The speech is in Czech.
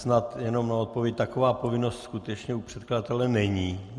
Snad jenom má odpověď: Taková povinnost skutečně u předkladatele není.